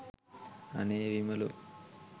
අනේ විමලෝ